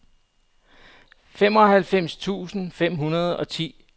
femoghalvfems tusind fem hundrede og ti